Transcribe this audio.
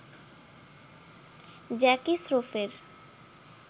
Jackie স্রফের